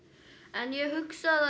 en ég hugsa að